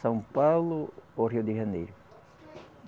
São Paulo ou Rio de Janeiro?